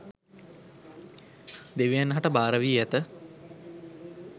දෙවියන් හට භාර වී ඇත